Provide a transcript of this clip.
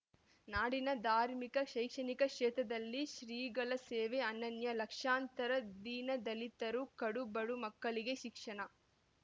ನಾಡಿನ ಧಾರ್ಮಿಕ ಶೈಕ್ಷಣಿಕ ಕ್ಷೇತ್ರದಲ್ಲಿ ಶ್ರೀಗಳ ಸೇವೆ ಅನನ್ಯ ಲಕ್ಷಾಂತರ ದೀನದಲಿತರು ಕಡು ಬಡ ಮಕ್ಕಳಿಗೆ ಶಿಕ್ಷಣ